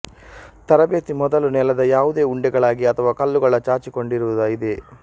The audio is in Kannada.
ತರಬೇತಿ ಮೊದಲು ನೆಲದ ಯಾವುದೇ ಉಂಡೆಗಳಾಗಿ ಅಥವಾ ಕಲ್ಲುಗಳ ಚಾಚಿಕೊಂಡಿರುವ ಇದೆ